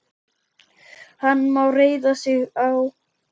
Hann má reiða sig á.